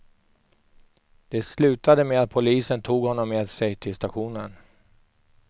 Det slutade med att polisen tog honom med sig till stationen.